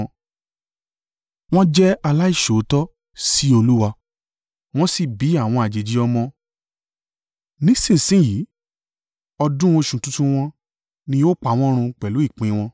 Wọ́n jẹ́ aláìṣòótọ́ sí Olúwa wọ́n sì bí àwọn àjèjì ọmọ. Nísinsin yìí, ọdún oṣù tuntun wọn, ni yóò pa wọn run pẹ̀lú ìpín wọn.